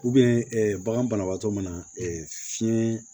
bagan banabaatɔ mana fiɲɛ